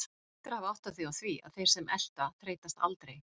Þú hlýtur að hafa áttað þig á því að þeir sem elta þreytast aldrei.